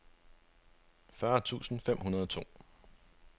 fyrre tusind fem hundrede og to